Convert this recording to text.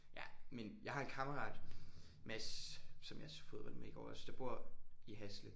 Ja men jeg har en kammerat Mads som jeg så fodbold med i går også der bor i Hasle